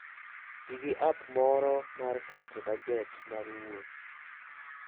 Ti gi app moro mar keto bajet mar wuoth.